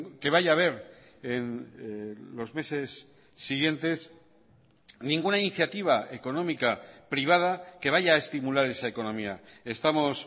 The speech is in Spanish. que vaya haber en los meses siguientes ninguna iniciativa económica privada que vaya a estimular esa economía estamos